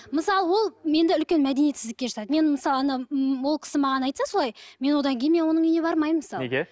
мысалы ол менде үлкен мәдениетсіздікке жатады мен мысалы м ана ол кісі маған айтса солай мен одан кейін мен оның үйіне бармаймын мысалы неге